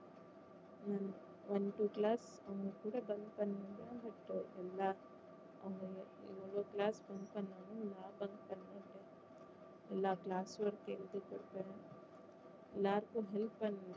உம் one two class அவங்க கூட bunk பண்ணிருக்கேன் but எல்லா அவங்க எவ்வளோ class bunk பண்ணாலும் லாபம் எங்களுக்கு தான் எல்லா class work கையும் எழுதி கொடுப்பேன் எல்லாருக்கும் help பண்ணுவேன்